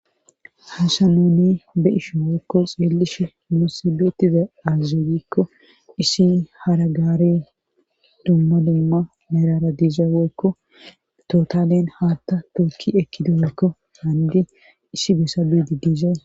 hasanoni be ishi wokko xeellishe mosibetida azeyikko issi haragaari dumma dumma merara diiza woykko totalen haatta tookki ekkido woykko haandi issi besa biidi diizae